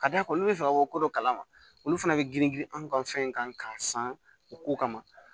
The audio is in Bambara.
Ka d'a kan olu bɛ fɛ ka ko dɔ kalama olu fana bɛ girin girin anw ka fɛn in kan k'a san u ko kama